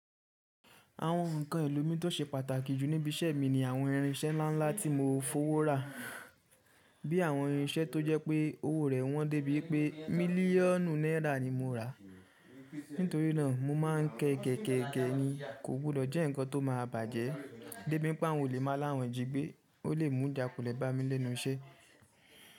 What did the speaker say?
Àwọn nǹkan elo mi tó ṣe pàtàkì jù níbi iṣẹ́ mi ni àwọn irinṣẹ́ ńlá ńlá tí mo fowó rà, bí i àwọn irinṣẹ́ tó jẹ́ pé owó rẹ̀ wọ́n dé bíi pé mílíọ̀nù náírà ni mo rà. Nítorí náà mo máa ń kẹgẹ̀kẹ̀gẹ̀ ni, kò gbúdò jẹ́ ǹkan tó máa bàjẹ́ dé bíi pé àwọn olè máa láwọn jigbe, ó lè mú ìjàkulè bá mi lẹ́nu iṣẹ́.